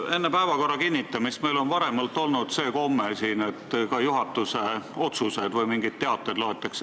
Meil on varem olnud siin selline komme, et enne päevakorra kinnitamist loetakse ette ka juhatuse otsused või mingid teated.